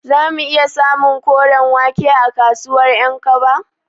Zamu iya samun koren wake a kasuwar Ƴankaba?